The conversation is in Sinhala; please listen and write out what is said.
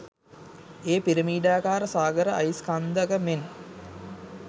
ඒ පිරමිඩාකාර සාගර අයිස් කන්දක මෙන්